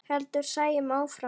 heldur Sæunn áfram.